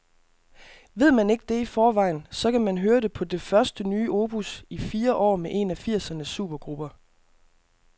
Ved man ikke det i forvejen, så kan man høre det på det første nye opus i fire år med en af firsernes supergrupper.